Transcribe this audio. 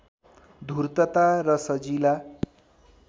धूर्तता र सजिला